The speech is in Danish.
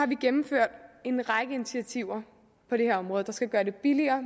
vi gennemført en række initiativer på det her område der skal gøre det billigere